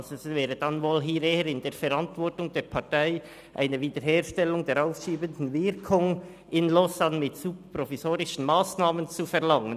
Das läge dann wohl eher in der Verantwortung der Partei in Lausanne eine Wiederherstellung der aufschiebenden Wirkung mit super-provisorischen Massnahmen zu verlangen.